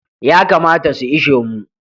Yakamata su ishe mu.